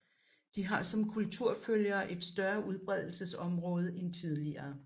De har som kulturfølgere et større udbredelsesområde end tidligere